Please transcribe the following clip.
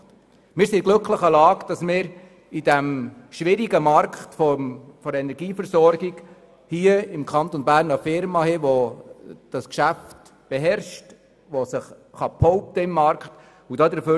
Wir sind in der glücklichen Lage, in diesem schwierigen Markt der Energieversorgung eine Firma im Kanton Bern zu haben, die dieses Geschäft beherrscht und sich im Markt behaupten kann.